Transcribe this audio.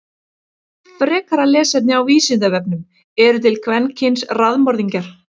Frekara lesefni á Vísindavefnum: Eru til kvenkyns raðmorðingjar?